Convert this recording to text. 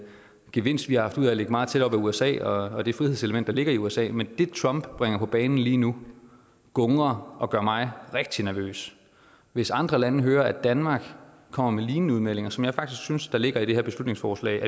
gevinst vi har haft ud af at ligge meget tæt op ad usa og det frihedselement der ligger i usa men det trump bringer på banen lige nu gungrer og gør mig rigtig nervøs hvis andre lande hører at danmark kommer med lignende udmeldinger som jeg faktisk synes der ligger i det her beslutningsforslag